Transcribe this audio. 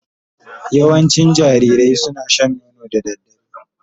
Yawancin jarirai suna shan nono da dare